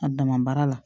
A dama baara la